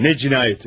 Ne cinayeti?